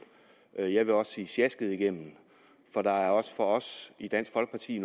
jeg jeg vil også sige sjasket igennem for der er også for os i dansk folkeparti